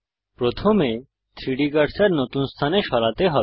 প্রথমে 3ডি কার্সার নতুন স্থানে সরাতে হবে